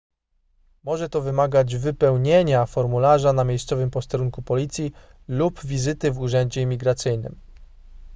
może to wymagać wypełnienia formularza na miejscowym posterunku policji lub wizyty w urzędzie imigracyjnym